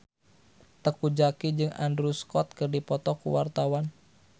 Teuku Zacky jeung Andrew Scott keur dipoto ku wartawan